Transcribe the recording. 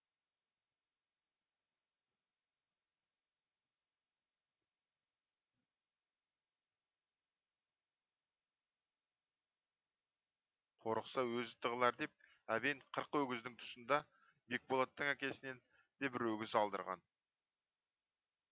қорықса өзі тығылар деп әбен қырық өгіздің тұсында бекболаттың әкесінен де бір өгіз алдырған